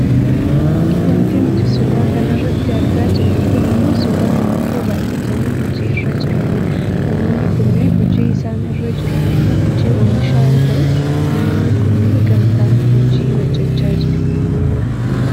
Wanti nuti suuraa kanarratti argaa jirru kun ammoo suuraa namoota baayyatanii hojii irra jiranidha. Namoonni kunneen hojiin isaan irra jiran ammoo hojii oomishaa yoo ta'u, namoonni kunneen gamtaan hojii hojjachaa jiru.